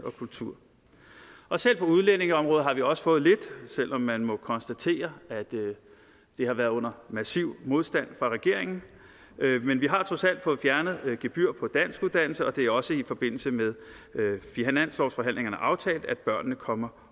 og kulturområdet selv på udlændingeområdet har vi også fået lidt selv om man må konstatere at det har været under massiv modstand fra regeringen men vi har trods alt fået fjernet et gebyr på danskuddannelse og det er også i forbindelse med finanslovsforhandlingerne aftalt at børnene kommer